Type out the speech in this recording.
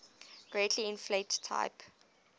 greatly inflate type